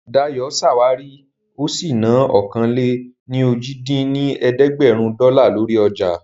Dayọ̀ ṣàwárí ó sì ná ọ̀kan-lé-ní-ojì dín ní ẹ̀ẹ́dẹ́gbẹ́rún dọ́là lórí ọjà